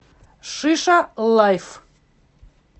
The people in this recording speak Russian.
шиша лайф